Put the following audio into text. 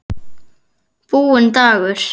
Búinn dagur.